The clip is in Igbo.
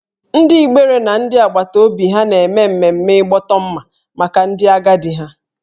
Ndị Igbere na ndị agbata obi ha na-eme mmemme ịgbọtọ mma maka ndị agadi ha